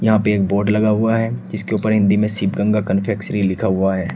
यहां पे एक बोर्ड हुआ है जिसके ऊपर हिंदी में शिवगंगा कन्फेक्शनरी लिखा हुआ है।